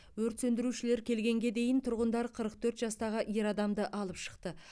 өрт сөндірушілер келгенге дейн тұрғындар қырық төрт жастағы ер адамды алып шықты